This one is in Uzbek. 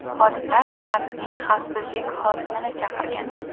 Xodimlar bankning xavfsizlik xodimini chaqirgan.